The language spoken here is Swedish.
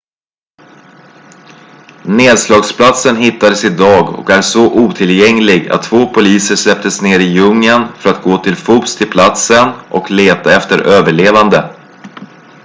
nedslagsplatsen hittades idag och är så otillgänglig att två poliser släpptes ner i djungeln för att gå till fots till platsen och leta efter överlevande